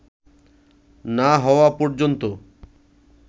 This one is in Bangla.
না হওয়া পর্যন্ত